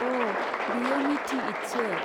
अ! बेयो मीठी ईदसो।